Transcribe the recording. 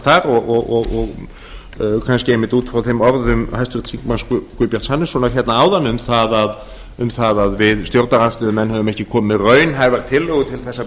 þar og kannski einmitt út frá þeim orðum háttvirts þingmanns guðbjarts hannessonar hérna áðan um að við stjórnarandstöðumenn höfum ekki komið með raunhæfar tillögur til þess að